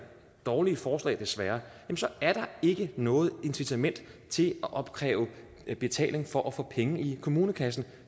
dårlige forslag desværre ikke noget incitament til at opkræve betaling for at få penge i kommunekassen